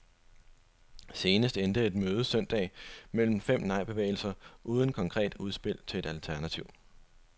Senest endte et møde søndag mellem fem nejbevægelser uden konkret udspil til et alternativ.